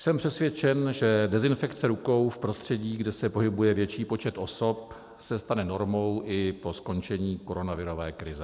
Jsem přesvědčen, že dezinfekce rukou v prostředí, kde se pohybuje větší počet osob, se stane normou i po skončení koronavirové krize.